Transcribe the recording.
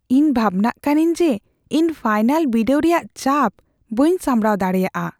ᱤᱧ ᱵᱷᱟᱵᱽᱱᱟᱜ ᱠᱟᱹᱱᱟᱹᱧ ᱡᱮ ᱤᱧ ᱯᱷᱟᱭᱱᱟᱞ ᱵᱤᱰᱟᱹᱣ ᱨᱮᱭᱟᱜ ᱪᱟᱯ ᱵᱟᱹᱧ ᱥᱟᱢᱲᱟᱣ ᱫᱟᱲᱮᱭᱟᱜᱼᱟ ᱾